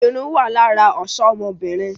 Irun wá lára ọ̀ṣọ ọmọbìnrin